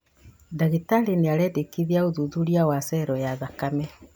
Ndagĩtarĩ nĩarendĩkithia ũthuthuria wa cero ya thakame